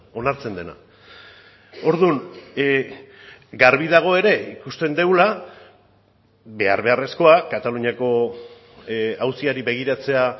onartzen dena orduan garbi dago ere ikusten dugula behar beharrezkoa kataluniako auziari begiratzea